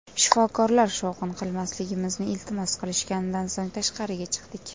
Shifokorlar shovqin qilmasligimizni iltimos qilishganidan so‘ng tashqariga chiqdik.